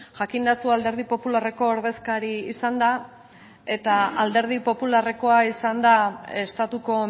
jakinda zu alderdi popularreko ordezkari izanda eta alderdi popularrekoa izanda estatuko